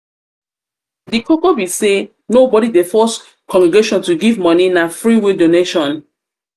di koko be sey nobody dey force congregation to give moni na free-will donation